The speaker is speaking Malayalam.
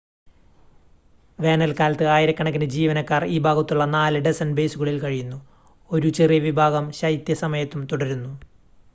വേനൽക്കാലത്ത് ആയിരക്കണക്കിന് ജീവനക്കാർ ഈ ഭാഗത്തുള്ള നാല് ഡസൻ ബേസുകളിൽ കഴിയുന്നു ഒരു ചെറിയ വിഭാഗം ശൈത്യ സമയത്തും തുടരുന്നു